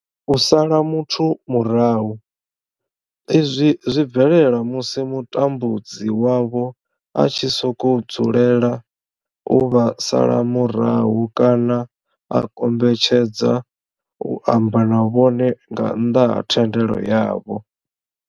U sala muthu murahu, izwi zwi bvelela musi mutambudzi wavho a tshi sokou dzulela u vha sala murahu kana a kombetshedza u amba na vhone nga nnḓa ha thendelo yavho.